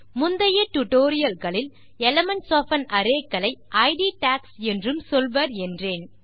முந்தைய டியூட்டோரியல் களில் elements of an array களை இட் டாக்ஸ் என்றும் சொல்வர் என்றேன்